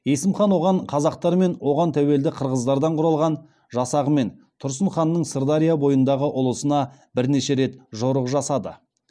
есім хан оған қазақтар мен оған тәуелді қырғыздардан құралған жасағымен тұрсын ханның сырдария бойындағы ұлысына бірнеше рет жорық жасады